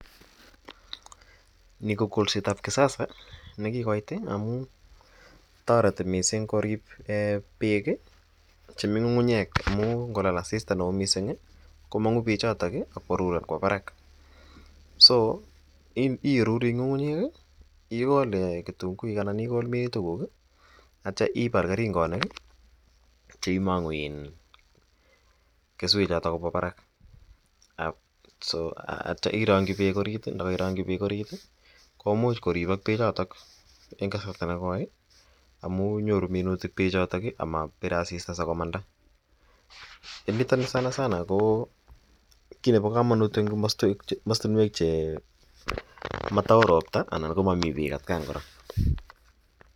Nii ko kolsetab kisasa nekikoit amun toreti mising korib beek chemii ng'ung'unyek amun ng'olal asista neo mising komong'u beechotok ak korur kobaa barak, so irurii ng'ung'unyek, ikol kitung'uik anan ikol minutikuk akityo ibal kering'onik cheimong'u keswechoton kobwaa barak so akityo irongyi beek oriit ndokoirongyi beek oriit komuch koribok bechotok en kasarta nekoi amun nyoru minutik bechotok amabir asista sikomanda, en niton sana sana ko kiit nebokomonut en komostinwek che motao robta anan ko motomi Beek atkan kora.